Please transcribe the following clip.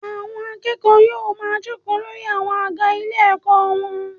Àwọn akẹ́kọ̀ọ́ yóò ma jókòó lórí àwọn àga ilé ẹ̀kọ́ wọn.